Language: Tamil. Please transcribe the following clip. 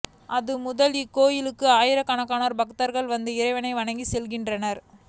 அது முதல் இக்கோயிலுக்கு ஆயிரக்கணக்கான பக்தர்கள் வந்து இறைவனை வணங்கி செல்கின்றனர்